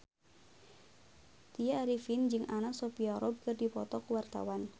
Tya Arifin jeung Anna Sophia Robb keur dipoto ku wartawan